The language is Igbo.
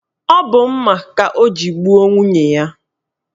Ọ bụ mma ka o ji gbuo nwunye ya